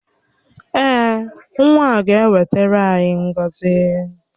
Èè, nwa a ga-ewetara anyị ngọzi